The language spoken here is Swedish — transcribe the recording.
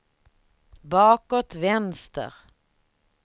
bakåt vänster